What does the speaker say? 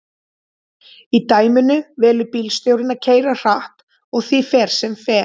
í dæminu velur bílstjórinn að keyra hratt og því fer sem fer